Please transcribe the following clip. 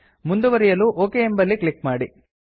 ಮುಂದುವರೆಯಲು ಒಕ್ ಎಂಬಲ್ಲಿ ಕ್ಲಿಕ್ ಮಾಡಿ